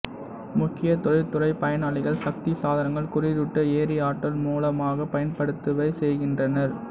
முக்கிய தொழில்துறை பயனாளிகள் சக்தி சாதனங்கள் குளிரூட்ட எரிஆற்றல் மூல மாகப் பயன்படுத்தவே செய்கின்றனர்